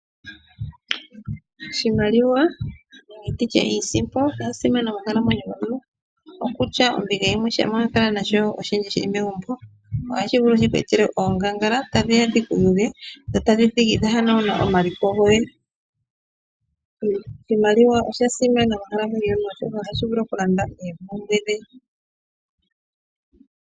Oshimaliwa nenge nditye iisimpo oya simana mokukalamweyo komuntu, okutya ombinga yimwe shampa wa kala nasho oshindji shi li megumbo, ohashi vulu shi ku etele oongangala, ta dhi ya dhiku yuge dho tadhi thigi dha hanagula omaliko goye. Iimaliwa oya simana moonkalamweyo yomuntu oshoka ohashi vulu okukanda oompumbwe dhe.